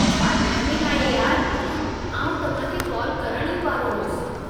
छा टाइमिंग आहे यार, आउं तव्हांखे कॉल करणु ई वारो होसि।